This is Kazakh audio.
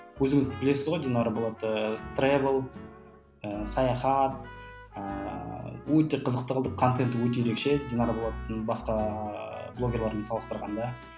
өзіңіз білесіз ғой динара болатты тревел ыыы саяхат ыыы өте қызықты қылып контенті өте ерекше динара болаттың басқа блогерлермен салыстырғанда